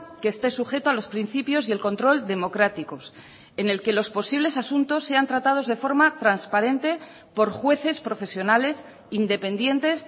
que esté sujeto a los principios y el control democráticos en el que los posibles asuntos sean tratados de forma transparente por jueces profesionales independientes